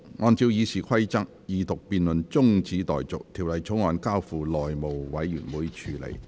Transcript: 按照《議事規則》，二讀辯論中止待續，《條例草案》交付內務委員會處理。